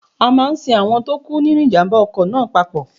A máa sin àwọn tó kú nínu ìjàmbá ọkọ̀ náà papọ̀.